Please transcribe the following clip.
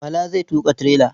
Bala zai tuƙa tirela.